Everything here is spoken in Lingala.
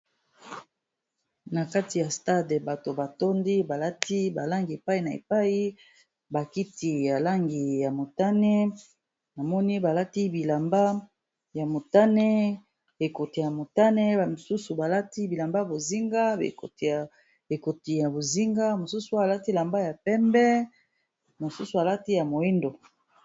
Na kati ya stade bato ba tondi balati ba langi epai na epai ba kiti ya langi ya motane, namoni balati bilamba ya motane ekoti ya motane, mosusu balati bilamba y bozinga, ekoti ya bozinga mosusu balati bilamba ya pembe, mosusu balati ya moyindo.